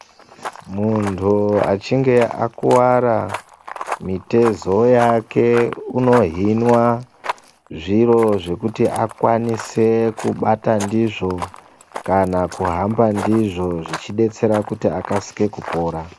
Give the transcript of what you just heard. Muntu achinge akuwara mitezo yake unohinwa zviro zvekuti akwanise kubata ndizvo ,kana kuhamba ndizvo zvichidetsera kuti akasike kupora